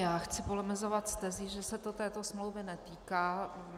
Já chci polemizovat s tezí, že se to této smlouvy netýká.